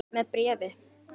Með bréfi.